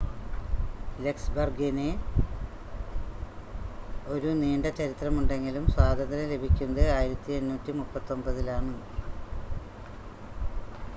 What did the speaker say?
ലക്സംബർഗിന് ഒരു നീണ്ട ചരിത്രമുണ്ടെങ്കിലും സ്വാതന്ത്ര്യം ലഭിക്കുന്നത് 1839-ലാണ്